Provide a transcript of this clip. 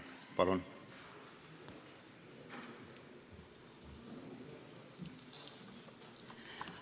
Palun!